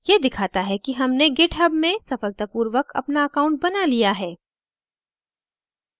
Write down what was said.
यह दिखाता है कि हमने github में सफलतापूर्वक अपना account बना लिया है